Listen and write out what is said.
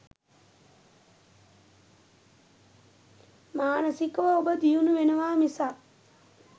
මානසිකව ඔබ දියුණු වෙනවා මිසක්